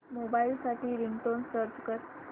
mobile साठी ringtone search कर